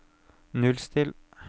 nullstill